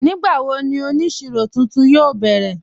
Nígbàwó ní onísíró tuntun yóò bẹrẹ̀?